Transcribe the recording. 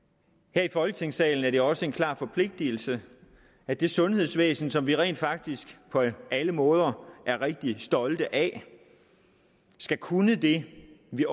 her i folketingssalen er det også en klar forpligtelse at det sundhedsvæsen som vi rent faktisk på alle måder er rigtig stolte af skal kunne det vi